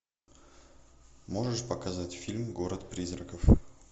можешь показать фильм город призраков